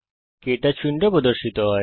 কে touch window প্রদর্শিত হয়